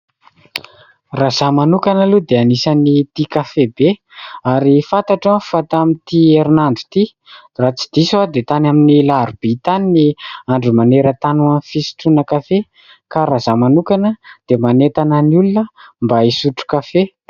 Raha izaho manokana aloha dia anisan'ny tia kafe be. Ary fantatro fa tamin'ity herinandro ity, raha tsy diso aho dia tany amin'ny alarobia tany ny andro maneran-tany ho an'ny fisotroana kafe. Ka raha izaho manokana dia manentana ny olona mba hisotro kafe.